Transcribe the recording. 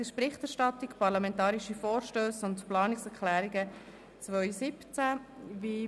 Es geht um die «Berichterstattung Parlamentarische Vorstösse und Planungserklärungen 2017».